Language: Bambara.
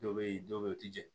Dɔw bɛ yen dɔw bɛ yen u tɛ jɛn